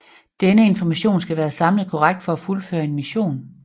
Denne information skal være samlet korrekt for at fuldføre en mission